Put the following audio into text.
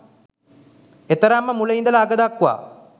ඒතරම්ම මුල ඉඳලා අග දක්වා